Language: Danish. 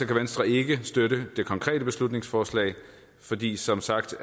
kan venstre ikke støtte det konkrete beslutningsforslag fordi det som sagt